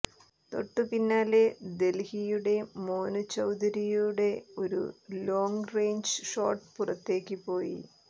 തൊട്ടുപിന്നാലെ ദല്ഹിയുടെ മോനു ചൌധരിയുടെ ഒരു ലോംഗ്റേഞ്ച് ഷോട്ട് പുറത്തേക്ക് പോയി